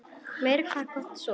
Meira hvað hann gat sofið!